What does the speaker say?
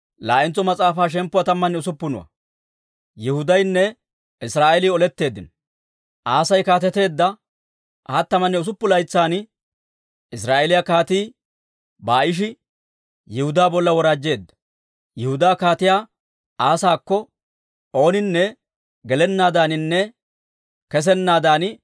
Asay kaateteedda hattamanne usuppuntsa laytsan Israa'eeliyaa Kaatii Baa'ishi Yihudaa bolla woraajjeedda; Yihudaa Kaatiyaa Asaakko ooninne gelennaadaaninne kessennaadan te'anaw Raama katamaa yuushshuwaa minisiide gimbbeedda.